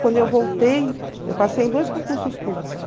Quando eu voltei, eu passei em dois concursos públicos.